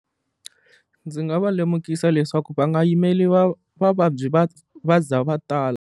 Ndzi nga va lemukisa leswaku va nga yimeli va vavabyi va va za va tala.